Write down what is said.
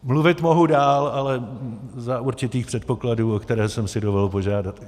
Mluvit mohu dál, ale za určitých předpokladů, o které jsem si dovolil požádat.